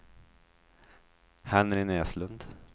Henry Näslund